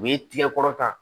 U ye tigɛ kɔrɔta